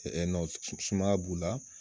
sumaya b'u la.